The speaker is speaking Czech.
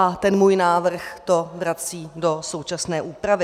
A ten můj návrh to vrací do současné úpravy.